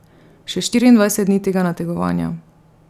Še štiriindvajset dni tega nategovanja.